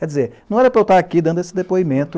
Quer dizer, não era para eu estar aqui dando esse depoimento.